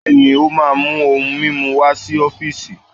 Bẹ́ẹ̀ni, o máà mu ohun mimu wá si ọfiisi.